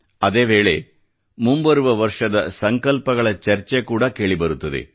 ಅದೇ ವೇಳೆ ಮುಂಬರುವ ವರ್ಷದ ಸಂಕಲ್ಪಗಳ ಚರ್ಚೆ ಕೂಡಾ ಕೇಳಿ ಬರುತ್ತದೆ